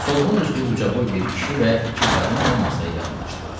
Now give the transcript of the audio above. Solğun üzlü ucaboy bir kişi və iki qadın da masaya yaxınlaşdılar.